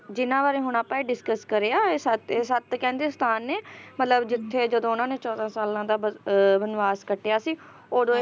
ਜਿੰਨਾ ਬਾਰੇ ਹੁਣ ਆਪਾ ਇਹ discuss ਕਰਿਆ ਇਹ ਸੱਤ ਸੱਤ ਕਹਿੰਦੇ ਸਥਾਨ ਨੇ ਮਤਲਬ ਜਿੱਥੇ ਜਦੋਂ ਉਹਨਾਂ ਨੇ ਚੌਦਾਂ ਸਾਲਾਂ ਦਾ ਬ ਅਹ ਬਨਵਾਸ ਕੱਟਿਆ ਸੀ ਉਹਦੇ